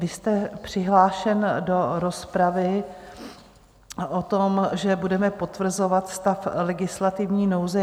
Vy jste přihlášen do rozpravy o tom, že budeme potvrzovat stav legislativní nouze.